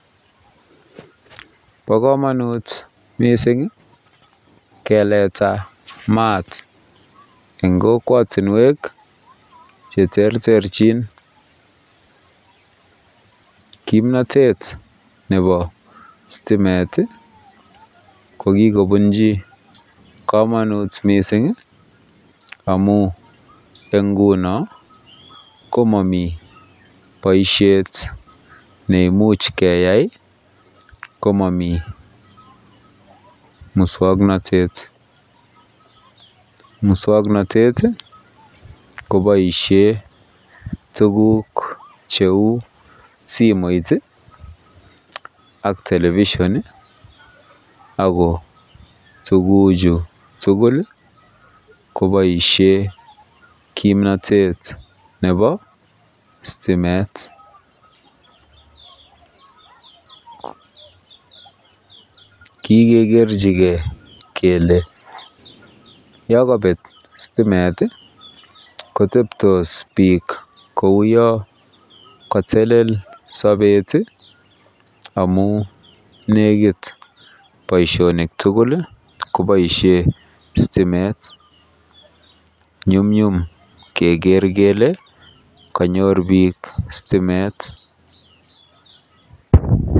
Bo kamanut mising iih keleta mat eng kokwotinwek cheterterjin kimnatet nebo stimet iih ko kikobunji kamanut mising iih amun eng ngunon ko momii boisiet nemuch keyai ko momii mukswoknotet, mukswoknotet koboisien tuguk cheu simoit iih television iih ago tuguchu tugul iih koboisien kimnatet nebo stimet. Kikegerjigen kele yon kobet stimet kotebtos bik kou yon kotelel sobet iih amun nekit boisionik tugul koboisien stimet nyumnyum keger kele konyor bik stimet .